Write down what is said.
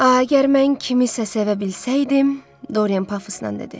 A əgər mən kimisə sevə bilsəydim, Dorian Pafusnan dedi.